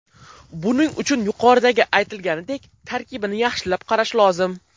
Buning uchun, yuqoridagi aytilganidek, tarkibini yaxshilab qarash lozim.